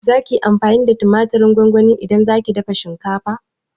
Zaki yi amfani da tumatirin gongoni idan zaki dafa shinkafa?